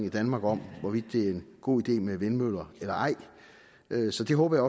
i danmark om hvorvidt det er en god idé med vindmøller eller ej så det håber